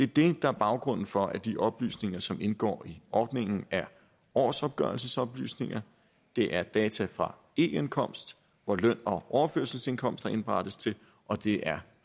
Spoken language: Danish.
det der er baggrunden for at de oplysninger som indgår i ordningen er årsopgørelsesoplysninger det er data fra e indkomst hvor løn og overførselsindkomster indberettes til og det er